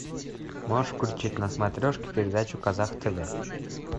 можешь включить на смотрешке передачу казах тв